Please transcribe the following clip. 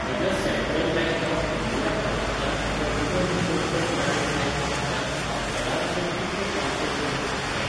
म्हज्या central bank of India खात्यांतल्यान म्हज्या विदर्भ कोंकण ग्रामीण बँक खात्यांत हांव चडांत चड कितले ट्रान्स्फर करूंक शकतां?